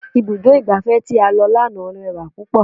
Ibùdó igbàfẹ́ tí a lọ lánàá rẹwà púpọ̀.